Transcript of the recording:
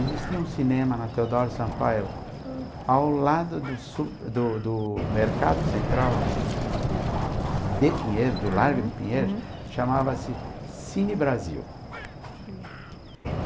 Existia um cinema na Teodoro Sampaio, ao lado do su do do mercado central de Pinheiros, do Largo de Pinheiros, chamava-se Cine Brasil.